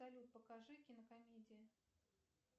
салют покажи кинокомедии